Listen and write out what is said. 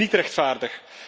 Dat is niet rechtvaardig.